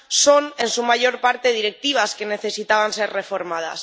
son en su mayor parte directivas que necesitaban ser reformadas.